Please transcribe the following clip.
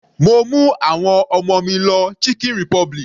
Mo mú àwọn ọmọ mi lọ chicken republic.